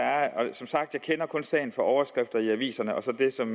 som sagt kender jeg kun sagen fra overskrifter i aviserne og fra det som